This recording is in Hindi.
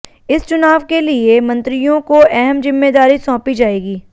इस चुनाव के लिए मंत्रियों को अहम जिम्मेदारी सौंपी जाएगी